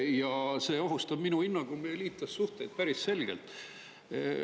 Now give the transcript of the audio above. Ja see ohustab minu hinnangul meie liitlassuhteid päris selgelt.